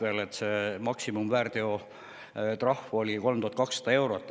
Väärteo eest oli maksimumtrahv 3200 eurot.